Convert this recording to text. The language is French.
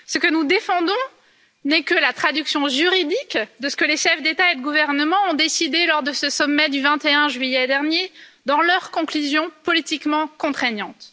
Ce que nous défendons n'est que la traduction juridique de ce que les chefs d'État et de gouvernement ont décidé, lors de ce sommet du 21 juillet dernier, dans leurs conclusions politiquement contraignantes.